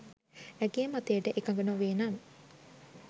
ඇගේ මතයට එකඟ නොවේ නම්